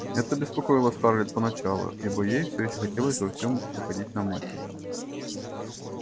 это беспокоило скарлетт поначалу ибо ей всё ещё хотелось во всем походить на мать